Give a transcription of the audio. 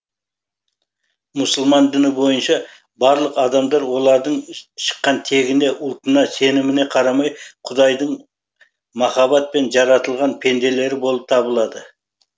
мұсылман діні бойынша барлық адамдар олардың шыққан тегіне ұлтына сеніміне қарамай құдайдың махаббатпен жаратылған пенделері болып табылады